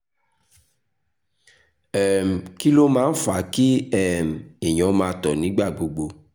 um kí ló máa ń fa kí um èèyàn máa tọ̀ nígbà gbogbo?